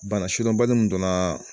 Bana sidɔnbali min donna